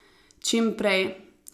Čim prej.